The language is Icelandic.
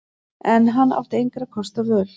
En hann átti engra kosta völ.